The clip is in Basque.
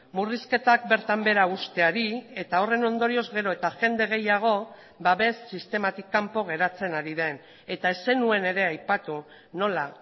murrizketak bertan behera usteari eta horren ondorioz gero eta jende gehiago babes sistematik kanpo geratzen ari den eta ez zenuen ere aipatu nola